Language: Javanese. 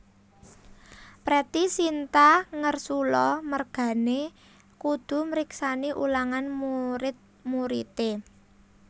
Pretty Sinta ngersula mergane kudu mriksani ulangan murid muride